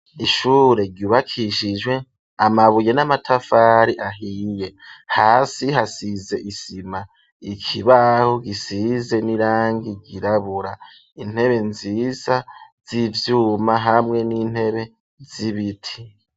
Ishure ryubakishijwe ,amabuye n'amatafari ahiye, hasi hasize isima ,ikibahu gisize n'irangi ryirabura ,intebe nziza z'ivyuma ,hamwe n'intebe z'ibiti.